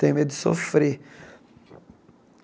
Tenho medo de sofrer.